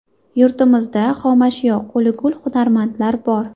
Yurtimizda xomashyo, qo‘li gul hunarmandlar bor.